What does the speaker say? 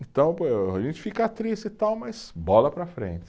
Então, a gente fica triste e tal, mas bola para a frente.